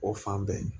O fan bɛɛ